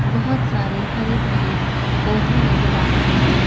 बहुत सारे हरे भरे पौधे नजर आ रहे हैं।